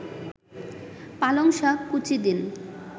পালংশাক কুচি দিন